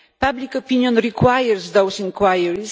Public opinion requires those inquiries.